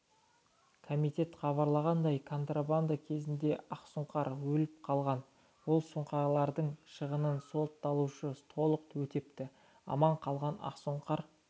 комитеттен хабарланғандай контрабанда кезінде ақсұңқар өліп қалған ол сұңқарлардың шығынын сотталушы толық өтепті аман қалған ақсұңқар